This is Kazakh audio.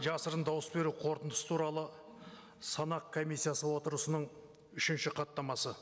жасырын дауыс беру қорытындысы туралы санақ комиссиясы отырысының үшінші хаттамасы